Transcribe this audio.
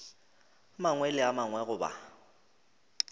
mangwe le a mangwe goba